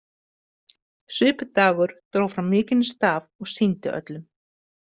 Svipdagur dró fram mikinn staf og sýndi öllum.